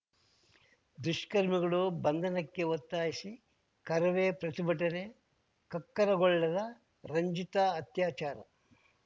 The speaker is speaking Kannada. ದುಷ್ಕರ್ಮಿಗಳು ಬಂಧನಕ್ಕೆ ಒತ್ತಾಯಿಸಿ ಕರವೇ ಪ್ರತಿಭಟನೆ ಕಕ್ಕರಗೊಳ್ಳದ ರಂಜಿತಾ ಅತ್ಯಾಚಾರ